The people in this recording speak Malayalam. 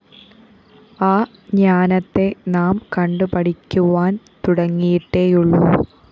ആ ജ്ഞാനത്തെ നാം കണ്ടുപഠിക്കുവാന്‍ തുടങ്ങിയിട്ടേയുള്ളൂ